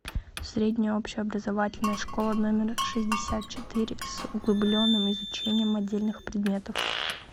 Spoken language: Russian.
средняя общеобразовательная школа номер шестьдесят четыре с углубленным изучением отдельных предметов